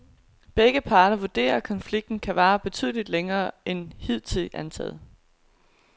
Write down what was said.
Begge parter vurderer, at konflikten kan vare betydeligt længere end hidtil antaget.